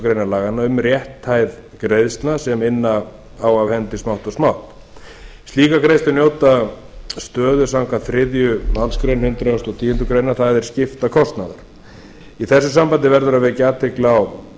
grein laganna um rétthæð greiðslna sem inna á af hendi smátt og smátt slíkar greiðslur njóta stöðu samkvæmt þriðju málsgrein hundrað og tíundu greinar það er skiptakostnaður í þessu sambandi verður að vekja athygli á